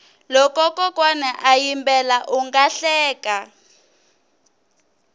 loko kokwana a yimbela unga hleka